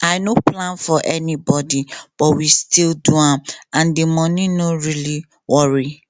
i no plan for anybody but we still do am and the money no really worry